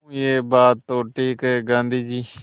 हूँ यह बात तो ठीक है गाँधी जी